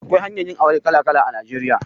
Akwai hanyoyin yin aure kala kala a Najeriya.